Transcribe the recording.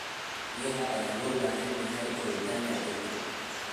Biyaha ayaa loo baahan yahay koritaanka dhirta.